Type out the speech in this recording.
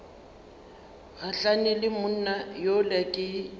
gahlane le monna yola ke